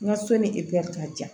N ka so ni ka jan